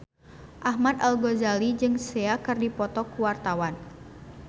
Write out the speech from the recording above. Ahmad Al-Ghazali jeung Sia keur dipoto ku wartawan